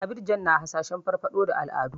Abidjan na hasashen farfaɗo da al'adu.